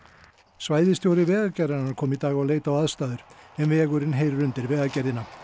svæðisstjóri Vegagerðarinnar kom í dag og leit á aðstæður en vegurinn heyrir undir Vegagerðina